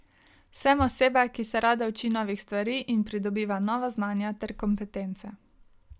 Sem oseba, ki se rada uči novih stvari in pridobiva nova znanja ter kompetence.